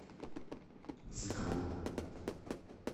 зыкову